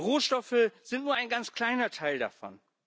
Rohstoffe sind nur ein ganz kleiner Teil davon.